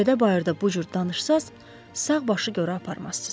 Küçədə bayırda bu cür danışsanız, sağ başı qora aparmazsız.